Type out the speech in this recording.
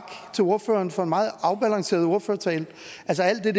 til ordføreren for en meget afbalanceret ordførertale altså alt det